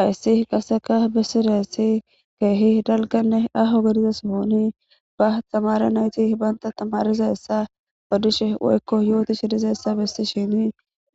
hayssi qaseka bissidassi keehi dalganne aho gediza sohoni ba stamara nayti banta tamarizaessa odishe woykko yootishi dizayessa bissi shini